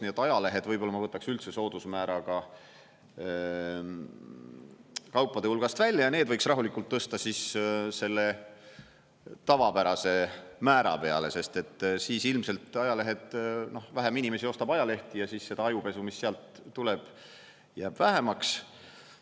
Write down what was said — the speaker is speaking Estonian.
Nii et ajalehed võib-olla ma võtaks üldse soodusmääraga kaupade hulgast välja ja need võiks rahulikult tõsta siis selle tavapärase määra peale, sest et siis ilmselt vähem inimesi ostab ajalehti ja siis seda ajupesu, mis sealt tuleb, jääb vähemaks.